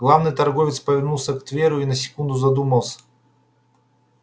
главный торговец повернулся к тверу и на секунду задумался